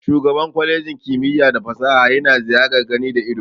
Shugaban kwalejin kimiyya da fasaha yana ziyar gani da ido.